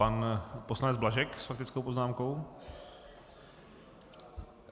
Pan poslanec Blažek s faktickou poznámkou.